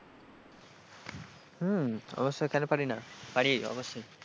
হম অবশ্যই কেন পারি না পারি অবশ্যই।